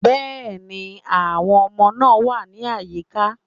Yes, the children are around